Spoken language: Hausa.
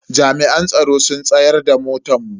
Jami'an tsaro sun tsayar da motan mu.